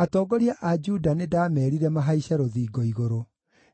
Atongoria a Juda nĩndameerire mahaice rũthingo-igũrũ.